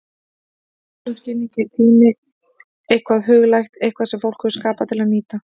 Í þessum skilningi er tíminn eitthvað huglægt, eitthvað sem fólk hefur skapað til að nýta.